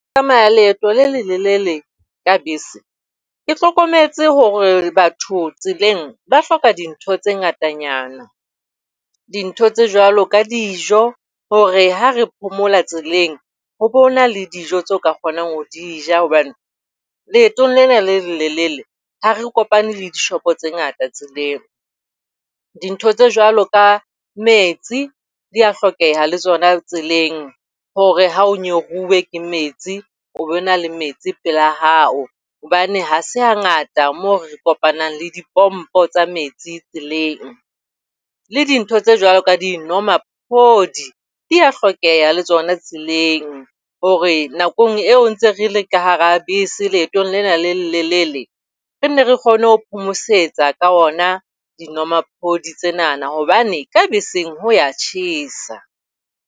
Ho tsamaya leeto le lelelele ka bese, ke hlokometse hore batho tseleng ba hloka dintho tse ngatanyana. Dintho tse jwalo ka dijo, hore ha re phomola tseleng hoba hona le dijo tse ka kgonang ho di ja hobane leetong lena le lelelele ha re kopane le dishopo tse ngata tseleng. Dintho tse jwalo ka metsi di a hlokeha le tsona tseleng hore ha o nyoruwe ke metsi, o be na le metsi pela hao. Hobane ha se ha ngata moo re kopanang le dipompo tsa metsi tseleng, le dintho tse jwalo ka dinomaphodi di a hlokeha le tsona tseleng hore nakong eo ntseng re le ka hara bese leetong lena le lelelele, re nne re kgone ho phomosetsa ka ona dinomaphodi tsenana, hobane ka beseng ho a tjhesa.